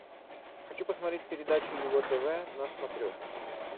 хочу посмотреть передачу его тв на смотрешке